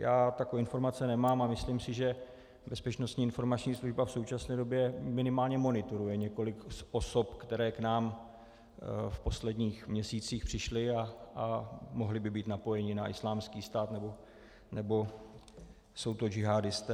Já takové informace nemám a myslím si, že Bezpečnostní informační služba v současné době minimálně monitoruje několik osob, které k nám v posledních měsících přišly a mohly by být napojeny na Islámský stát nebo jsou to džihádisté.